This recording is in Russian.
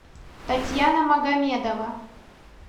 татьяна магомедова